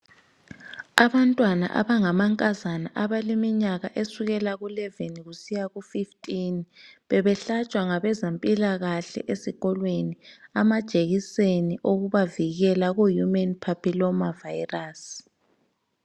Abantwana abangamankazana abaleminyaka esukela kwelitshumi lanye kusiya kwelitshumi lanhlanu bebehlatshwa ngabezempilakahle amajekiseni okubavikela kumagcikwane adala umkhuhlane wemvukuzane yesibeletho.